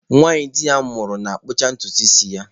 Nwanyị di ya nwụrụ na-akpụcha ntutu isi ya.